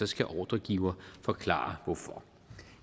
skal ordregiver forklare hvorfor